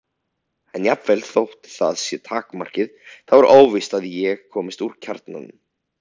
En jafnvel þótt það sé takmarkið þá er óvíst að ég komist að kjarnanum.